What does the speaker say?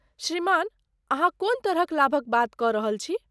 श्रीमान, अहाँ कोन तरहक लाभक बात कऽ रहल छी?